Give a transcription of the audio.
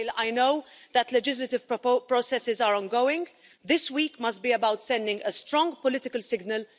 While I know that legislative processes are ongoing, this week must be about sending a strong political signal.